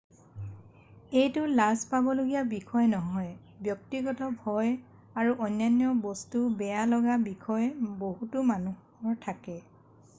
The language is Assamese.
এইটো লাজ পাবলগীয়া বিষয় নহয় ব্যক্তিগত ভয় আৰু অন্য বস্তু বেয়া লগা বিষয় বহুতো মানুহৰ থাকে